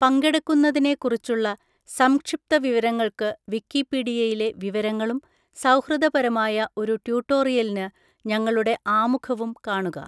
പങ്കെടുക്കുന്നതിനെക്കുറിച്ചുള്ള സംക്ഷിപ്തവിവരങ്ങൾക്ക് വിക്കിപീഡിയയിലെ വിവരങ്ങളും സൗഹൃദപരമായ ഒരു ട്യൂട്ടോറിയലിന് ഞങ്ങളുടെ ആമുഖവും കാണുക.